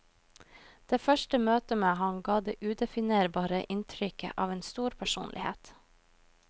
Det første møte med ham ga det udefinerbare inntrykket av en stor personlighet.